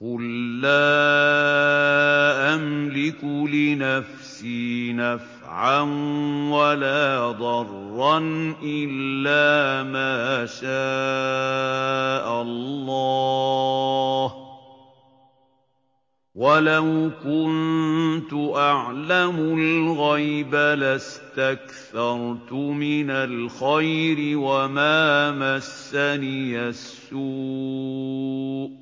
قُل لَّا أَمْلِكُ لِنَفْسِي نَفْعًا وَلَا ضَرًّا إِلَّا مَا شَاءَ اللَّهُ ۚ وَلَوْ كُنتُ أَعْلَمُ الْغَيْبَ لَاسْتَكْثَرْتُ مِنَ الْخَيْرِ وَمَا مَسَّنِيَ السُّوءُ ۚ